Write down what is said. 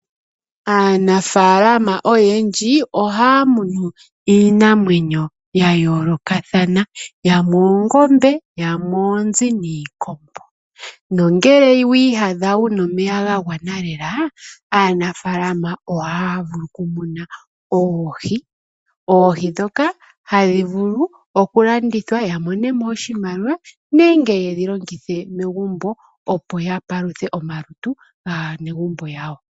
Aanafaalama oyendji ohaya munu iinamwenyo yayoolokathana ngaashi oongombe, oonzi niikombo. Nongele wiiyadha wuna omeya gagwana lela , aanafaalama ohaya vulu okumuna oohi . Oohi ndhoka ohadhi vulu okulandithwa, yamonemo iimaliwa nenge yedhi longithe megumbo opo yapaluthe omalutu gaanegumbo yawo.